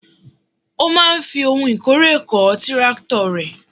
Ó máa ń fi ohun ìkórè kọ́ tírákítọ̀ rẹ̀.